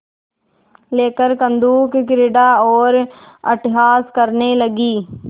लेकर कंदुकक्रीड़ा और अट्टहास करने लगी